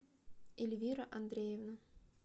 ильвира андреевна